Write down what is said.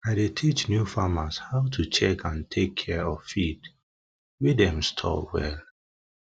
i dey teach new farmers how to check and take care of feed wey dem store um well